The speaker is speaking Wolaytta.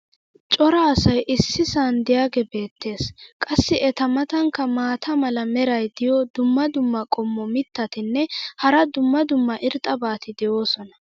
cora asay issisan diyaagee beetees. qassi eta matankka maata mala meray diyo dumma dumma qommo mitattinne hara dumma dumma irxxabati de'oosona.